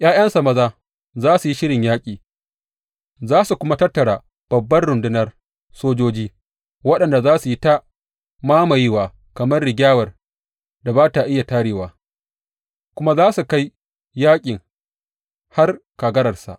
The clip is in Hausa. ’Ya’yansa maza za su yi shirin yaƙi za su kuma tattara babbar rundunar sojoji, waɗanda za su yi ta mamayewa kamar rigyawar da ba iya tarewa, kuma za su kai yaƙin har kagararsa.